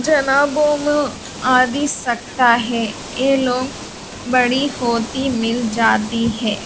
जना बो म आदि सकता है ए लोंग बड़ी होती मिल जाती है।